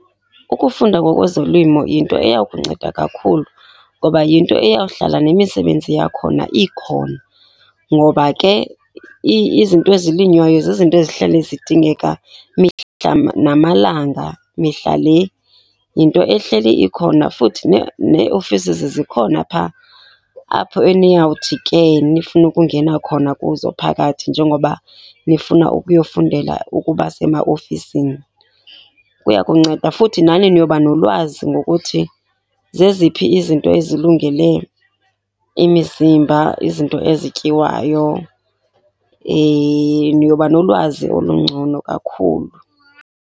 Ukufunda ngokwezolimo yinto eya kunceda kakhulu, ngoba yinto eyawuhlala nemisebenzi yakhona ikhona ngoba ke izinto ezilinywayo zizinto ezihleli zidingeka imihla namalanga mihla le. Yinto ehleli ikhona futhi nee-offices zikhona phaa, apho eniyawuthi ke nifune ukungena khona kuzo phakathi njengoba nifuna ukuyofundela ukuba semaofisini. Kuya kunceda futhi, nani niyoba nolwazi ngokuthi zeziphi izinto ezilungele imizimba, izinto ezityiwayo. Niyoba nolwazi olungcono kakhulu.